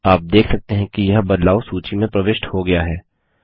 आप देख सकते हैं कि यह बदलाव सूची में प्रविष्ट हो गया है